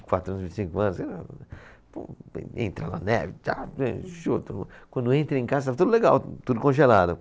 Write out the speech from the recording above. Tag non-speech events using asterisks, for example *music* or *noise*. E quatro anos, vinte e cinco anos. *unintelligible* Pô Entra a neve, txa, ê... *unintelligible* Quando entra em casa, está tudo legal, tudo congelado.